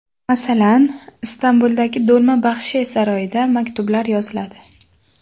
Masalan, Istanbuldagi Do‘lma Baxche saroyida maktublar yoziladi.